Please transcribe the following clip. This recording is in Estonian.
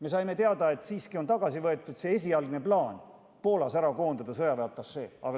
Me saime teada, et on loobutud esialgsest plaanist koondada Poolas sõjaväeatašee.